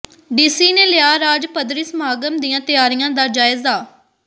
DC ਨੇ ਲਿਆ ਰਾਜ ਪੱਧਰੀ ਸਮਾਗਮ ਦੀਆਂ ਤਿਆਰੀਆਂ ਜਾ ਜਾਇਜ਼ਾ